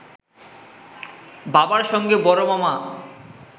বাবার সঙ্গে বড় মামা